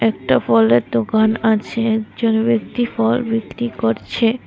একটা ফলের দোকান আছে একজন ব্যক্তি ফল বিক্রি করছে।